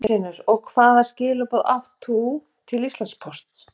Magnús Hlynur: Og hvaða skilaboð átt þú til Íslandspóst?